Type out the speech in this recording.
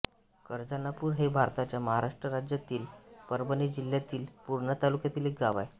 करजानापूर हे भारताच्या महाराष्ट्र राज्यातील परभणी जिल्ह्यातील पूर्णा तालुक्यातील एक गाव आहे